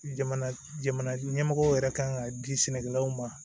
Jamana jamana ɲɛmɔgɔw yɛrɛ kan k'a di sɛnɛkɛlaw ma